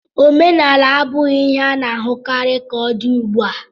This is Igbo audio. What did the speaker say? Omenaala abụghị ihe a na-ahụkarị ka ọ dị ugbu a.